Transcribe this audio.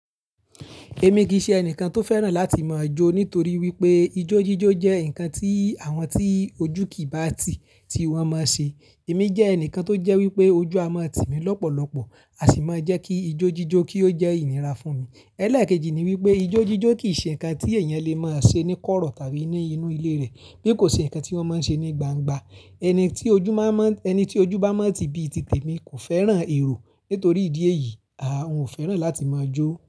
Èmi kì í ṣe ẹnìkan tó fẹ́ràn láti máa jó nítorí wípé ijó jíjó jẹ́ ǹkan tí àwọn tí ojú kì í bá ti tiwọn mo ń ṣe. Èmi jẹ́ ẹnìkan tó jẹ́ wípé ojú a máa tì mí lọ́pọ̀lọpọ̀, á sì máa jẹ́ kí ijó jíjó kí ó jẹ́ ìníra fún mi. Ẹ̀ lekejì ni wípé ijó jíjó kì í ṣe ǹkan tí ẹ̀yàn lè máa ṣe ní kọ́rọ̀ tàbí ní inú ilé rẹ̀, bí kò ṣe ǹkan tí wọ́n máa ń ṣe ní gbangba. Ẹni tí ojú bá mọ́, ẹni tí ojú bá mọ́ ti bí ti te mí kò fẹ́ràn èrò. Nítorí ìdí èyí, a ò fẹ́ràn láti mo jó.